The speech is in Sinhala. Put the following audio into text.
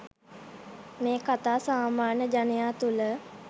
මෙ කතා සාමාන්‍ය ජනයා තුළ